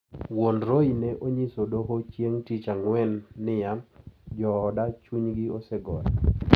Wuon Roy ne onyiso doho chieng` tich Ang`wen niya:" Jooda chunygi osegore.